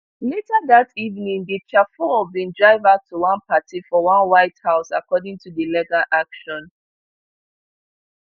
later dat evening di chauffeur bin drive her to one party for one white house according to di legal action